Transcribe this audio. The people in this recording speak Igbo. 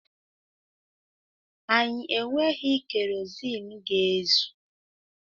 Anyị enweghị keroziin ga-ezù.